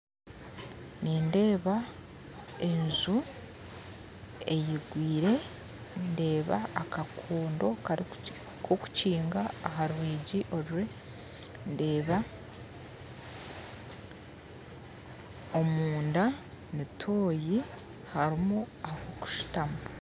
Nindeeba enju eyigwire ndeeba akakondo kokukinga aha rwigi oru ndeeba omunda ni tooyi harimu ahokushutama